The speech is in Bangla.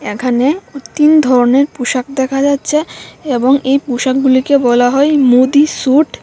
এখানে তিন ধরনের পোশাক দেখা যাচ্ছে এবং এই পোশাকগুলিকে বলা হয় মোদী স্যুট ।